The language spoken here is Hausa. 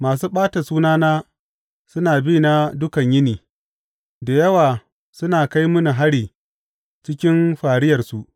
Masu ɓata sunana suna bina dukan yini; da yawa suna kai mini hari cikin fariyarsu.